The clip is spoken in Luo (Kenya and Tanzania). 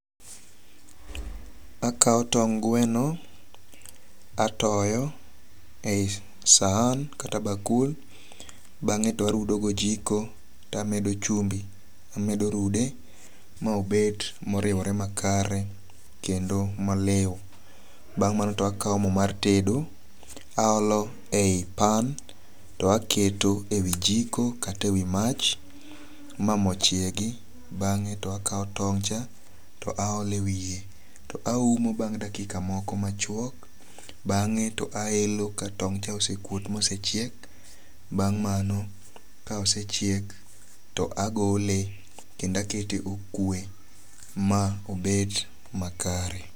Akaw tong' gweno atoyo e yi sahan kata bakul. Bang'e to arudo gojiko to amedo chumbi. Amedo rude ma obet moriwore makare kendo malew. Bang' mano to akaw mo mar tedo aolo e yi pan to aketo e wi jiko kata e wi mach ma mo chiegi. Bang'e to akaw tong' cha to aolo e wiye. To aumo bang' dakika moko machiuok. Bang'e to aelo katong' cha osekuot mosechiek. Bang' mano ka osechiek to agole kendo akete okwe ma obed makare.